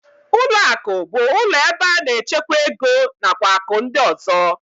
Ụlọakụ bụ ụlọ ebe a na-echekwa ego nakwa akụ ndị ọzọ